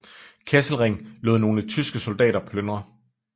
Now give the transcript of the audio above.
Kesselring lod nogle tyske soldater plyndre